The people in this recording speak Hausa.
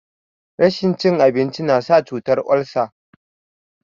Rashin cin abinci nasa cutan olsa